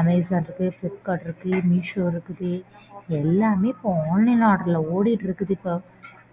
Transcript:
Amazon இருக்கு Flipkart இருக்கு Meesho இருக்குது எல்லாமே இப்போ online order ல ஓடிட்டு இருக்குது. இப்போ